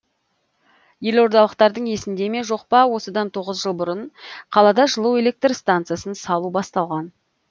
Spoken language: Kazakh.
елордалықтардың есінде ме жоқ па осыдан тоғыз жыл бұрын қалада жылу электр стансасын салу басталған